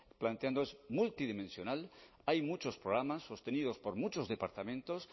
planteando es multidimensional hay muchos programas sostenidos por muchos departamentos